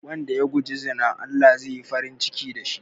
Wanda ya guji zina Allah zai yi farin ciki da shi